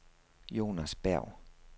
Jonas Berg